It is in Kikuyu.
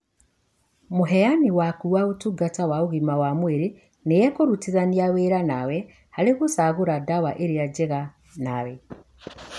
Mũheani waku wa ũtungata wa ũgima wa mwĩrĩ, nĩekũrutithania wĩra nawe harĩ gũcagũra dawa irĩa njega nawe